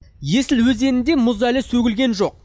есіл өзенінде мұз әлі сөгілген жоқ